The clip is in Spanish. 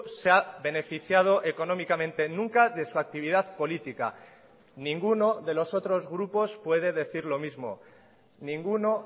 se ha beneficiado económicamente nunca de su actividad política ninguno de los otros grupos puede decir lo mismo ninguno